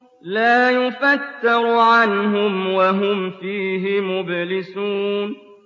لَا يُفَتَّرُ عَنْهُمْ وَهُمْ فِيهِ مُبْلِسُونَ